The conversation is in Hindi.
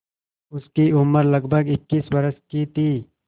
उसकी उम्र लगभग इक्कीस वर्ष की थी